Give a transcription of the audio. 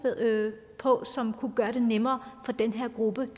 på og som kunne gøre det nemmere for den her gruppe